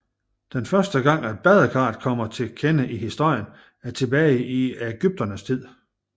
Den første gang at badekaret kommer til kende i historien er tilbage til egypternes tid